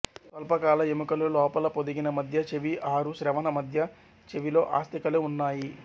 స్వల్పకాల ఎముకలు లోపల పొదిగిన మధ్య చెవి ఆరు శ్రవణ మధ్య చెవిలో అస్థికలు ఉన్నాయి